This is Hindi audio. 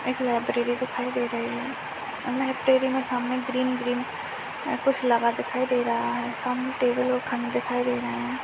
एक लाइब्रेरी दिखाई दे रही है और लाइब्रेरी मे सामने ग्रीन -ग्रीन ए कुछ लगा दिखाइ दे रहा है। सामने टेबल और दिखाई दे रहे हैं।